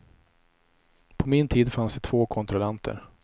På min tid fanns det två kontrollanter.